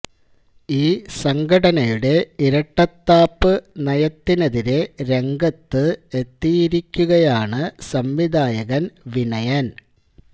ഈ സംഘടനയുടെ ഇരട്ടത്താപ്പ് നയത്തിനെതിരെ രംഗത്ത് എത്തിയിരിക്കുകയാണ് സംവിധായകൻ വിനയൻ